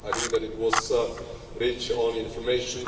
I think that it was rich in information.